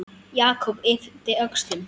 Jakob yppti öxlum.